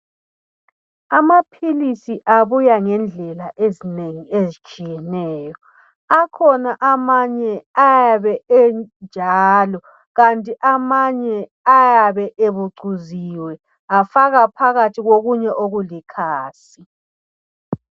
Amaphilisi abuya ngendlela ezinengi ezitshiyeneyo akhona amanye ayabe enjalo, lamanye ayabe ebucuziwe afakwa phakathi kokunye okulikhasi